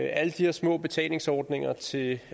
er alle de her små betalingsordninger til